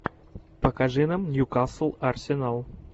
покажи нам ньюкасл арсенал